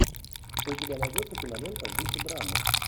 у тебя найдется кинолента в духе драмы